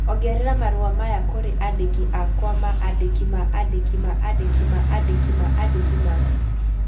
ongerera marũa maya kũrĩ andĩki akwa ma andĩki ma andĩki ma andĩki ma andĩki ma andĩki ma